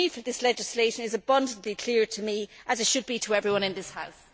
The need for this legislation is abundantly clear to me, as it should be to everyone in this House.